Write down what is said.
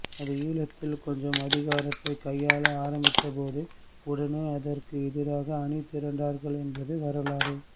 அது ஈழத்தில் கொஞ்சம் அதிகாரத்தைக் கையாள ஆரம்பித்தபோது உடனே அதற்கு எதிராக அணிதிரண்டார்கள் என்பது வரலாறு